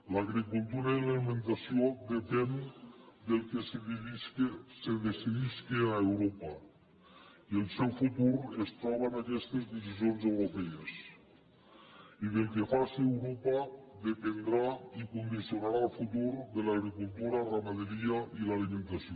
l’agricultura i l’alimentació depenen del que se decidisca a europa i el seu futur es troba en aquestes decisions europees i del que faci europa dependrà i condicionarà el futur de l’agricultura la ramaderia i l’alimentació